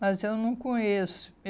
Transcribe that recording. Mas eu não conheço.